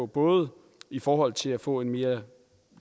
både i forhold til at få en mere